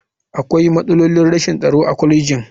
Akwai matsalolin rashin tsaro a kwalejin.